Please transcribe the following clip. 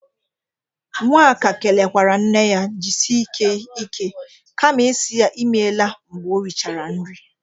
Nwaka kelekwara nne ya jisike ike kama isi ya imela mgbe o richara nri.